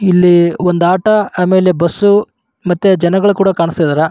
ಇಲ್ಲಿ ಒಂದ್ auto bus ಹಾಗು ಜನಗಳು ಕೂದ ಕಾಣಿಸ್ತಾ ಇದ್ದಾರೆ.